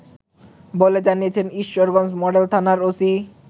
বলে জানিয়েছেন ঈশ্বরগঞ্জ মডেল থানার ওসি